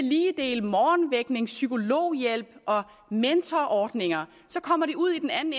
dele morgenvækning psykologhjælp og mentorordninger så kommer de ud i den anden